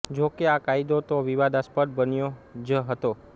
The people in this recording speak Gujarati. જોકે આ કાયદો તો વિવાદાસ્પદ બન્યો જ હતો